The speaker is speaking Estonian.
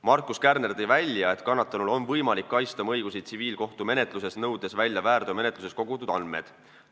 Markus Kärner ütles, et kannatanul on võimalik kaitsta oma õigusi tsiviilkohtumenetluses, nõudes välja väärteomenetluses kogutud andmed.